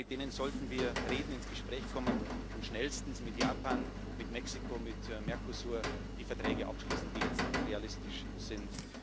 Mit denen sollten wir reden, ins Gespräch kommen und schnellstens mit Japan, mit Mexiko, mit dem Mercosur die Verträge abschließen, die jetzt realistisch sind.